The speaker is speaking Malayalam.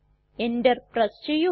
എന്റർ പ്രസ് ചെയ്യുക